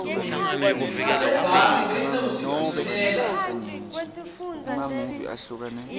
sasebhange bese usitfumelela